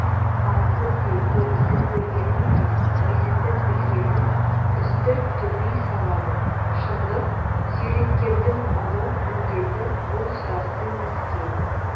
ал бізде көбісі көргенін емес есітіп-білгенін үстірт төпей салады шындық суреткердің ұлы міндеті бұл сұрақты мәскеу